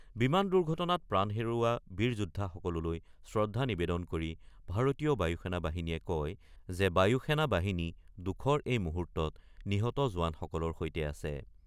বিমান দুৰ্ঘটনাত প্ৰাণ হেৰুওৱা বীৰ যোদ্ধাসকললৈ শ্ৰদ্ধা নিবেদন কৰি ভাৰতীয় বায়ু সেনা বাহিনীয়ে কয় যে বায়ু সেনা বাহিনী দুখৰ এই মুহূৰ্তত নিহত জোৱানসকলৰ সৈতে আছে।